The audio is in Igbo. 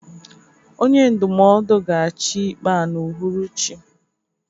onye ndụmọdụ ga-achị ikpe a n'uhuruchi